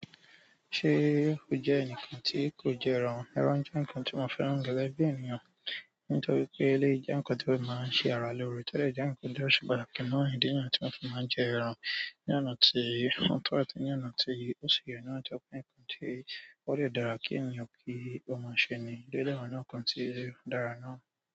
Ṣé o jẹ́ enikan tí kò jẹ́ ẹran? Ẹran jẹ́ ǹnkan tí mo fẹ́ràn gẹ́gẹ́ bí ènìyàn. Nítorí pé eléyìí jẹ́ ǹnkan tó máa ń ṣe ara lóore to dẹ jẹ́ ǹnkan ti o se pàtàkì náà. Idí niyẹn tí mo fi máa ń jẹ ẹran. Ní ọ̀nà tí o tọ́ àti ní ọ̀nà tí ó ṣi yẹ náà, to jẹ pe ǹnkan tí ó dẹ dára kí ènìyàn kí ó máa ṣe ní. O dẹ wa nínú nǹkan tí o dára náà.